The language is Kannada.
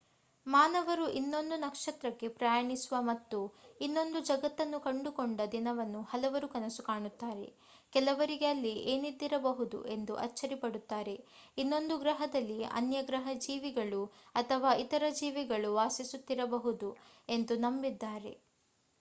ಮಾನವರು ಇನ್ನೊಂದು ನಕ್ಷತ್ರಕ್ಕೆ ಪ್ರಯಾಣಿಸುವ ಮತ್ತು ಇನ್ನೊಂದು ಜಗತ್ತನ್ನು ಕಂಡುಕೊಂಡ ದಿನವನ್ನು ಹಲವರು ಕನಸು ಕಾಣುತ್ತಿದ್ದಾರೆ ಕೆಲವರಿಗೆ ಅಲ್ಲಿ ಏನಿದ್ದಿರಬಹುದು ಎಂದು ಅಚ್ಚರಿ ಪಡುತ್ತಾರೆ ಇನ್ನೊಂದು ಗ್ರಹದಲ್ಲಿ ಅನ್ಯಗ್ರಹ ಜೀವಿಗಳು ಅಥವಾ ಇತರ ಜೀವಿಗಳು ವಾಸಿಸುತ್ತಿರಬಹುದು ಎಂದು ನಂಬಿದ್ದಾರೆ